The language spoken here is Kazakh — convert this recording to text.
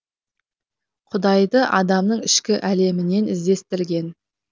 құдайды адамның ішкі әлемінен іздестірген